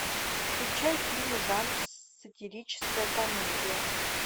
включай фильм жанр сатирическая комедия